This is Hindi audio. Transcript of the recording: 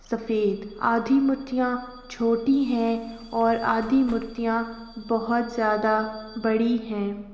सफेद आधी मूर्तियां छोटी हैं और आधी मूर्तियां बहोत ज्यादा बड़ी हैं।